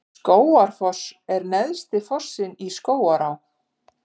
Skógafoss er neðsti fossinn í Skógaá.